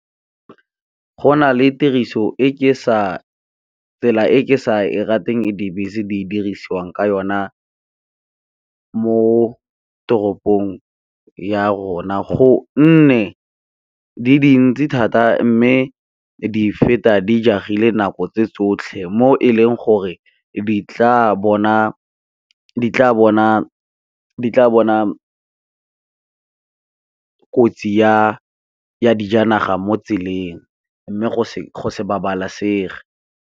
Go na le tiriso e ke sa, tsela e ke sa e rateng e dibese di dirisiwang ka yona mo toropong ya rona, go nne di dintsi thata mme di feta di jagile nako tse tsotlhe mo e leng gore di tla bona kotsi ya dijanaga mo tseleng mme go se se babalesege.